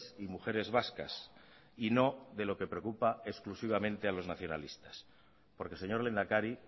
y mujeres vascas y no de lo que preocupa exclusivamente a los nacionalistas porque señor lehendakari